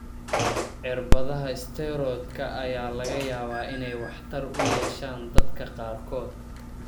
Cirbadaha isteeroodhka ayaa laga yaabaa inay waxtar u yeeshaan dadka qaarkood.